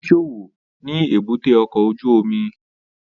Ó ń ṣòwò ni èbúté ọkọ̀ ojú omi